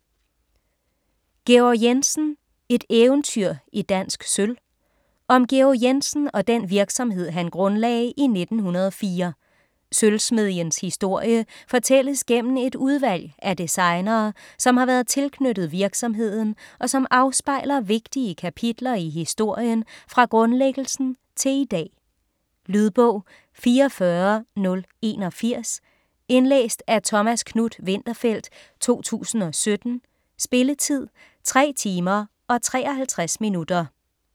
Georg Jensen - et eventyr i dansk sølv Om Georg Jensen og den virksomhed han grundlagde i 1904. Sølvsmedjens historie fortælles gennem et udvalg af designere, som har været tilknyttet virksomheden og som afspejler vigtige kapitler i historien fra grundlæggelsen til i dag. Lydbog 44081 Indlæst af Thomas Knuth-Winterfeldt, 2017. Spilletid: 3 timer, 53 minutter.